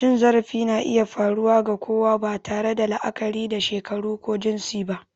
Cin zarafi na iya faruwa ga kowa, ba tare da la'akari da shekaru ko jinsi ba.